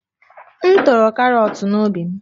M toro karọt n'ubi m